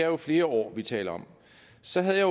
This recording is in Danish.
jo flere år vi taler om så havde jeg